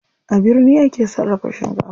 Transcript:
A birni ake sarrafa shinkafa.